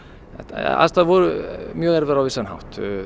aðstæður voru mjög erfiðar á vissan hátt